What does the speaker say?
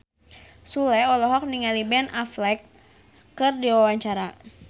Sule olohok ningali Ben Affleck keur diwawancara